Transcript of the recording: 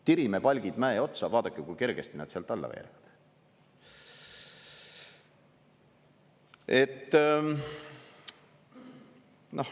Tirime palgid mäe otsa, vaadake, kui kergesti nad sealt alla veeretada.